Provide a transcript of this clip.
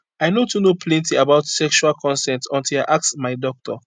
i no too know plenty about sexual consent until i ask my doctor